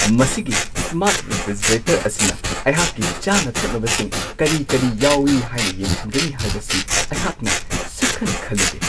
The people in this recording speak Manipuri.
ꯃꯁꯤꯒꯤ ꯁ꯭ꯃꯥꯔꯠ ꯔꯦꯐ꯭ꯔꯤꯖꯔꯦꯇꯔ ꯑꯁꯤꯅ ꯑꯩꯍꯥꯛꯀꯤ ꯆꯥꯅ-ꯊꯛꯅꯕꯁꯤꯡ ꯀꯔꯤ-ꯀꯔꯤ ꯌꯥꯎꯋꯤ ꯍꯥꯏꯅ ꯌꯦꯡꯁꯤꯟꯒꯅꯤ ꯍꯥꯏꯕꯁꯤ ꯑꯩꯍꯥꯛꯅ ꯁꯨꯛꯈꯟ-ꯈꯜꯂꯨꯗꯦ ꯫